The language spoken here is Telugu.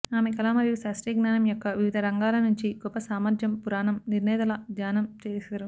ఆమె కళ మరియు శాస్త్రీయ జ్ఞానం యొక్క వివిధ రంగాల నుంచి గొప్ప సామర్థ్యం పురాణం నిర్ణేతలు దానం చేశారు